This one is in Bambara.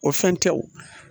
O fɛn tɛ o